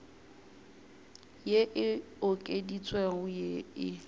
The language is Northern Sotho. ye e okeditšwego ye e